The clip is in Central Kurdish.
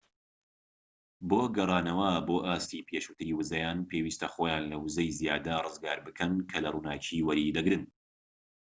بۆ گەڕانەوە بۆ ئاستی پێشووتری ووزەیان پێویستە خۆیان لە ووزەی زیادە ڕزگار بکەن کە لە ڕووناكی وەریدەگرن